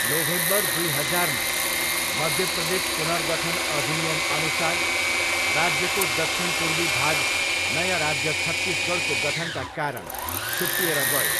November दुई हजारमा, मध्य प्रदेश पुनर्गठन अधिनियमअनुसार, राज्यको दक्षिणपूर्वी भाग नयाँ राज्य छत्तिसगढको गठनका कारण छुट्टिएर गयो।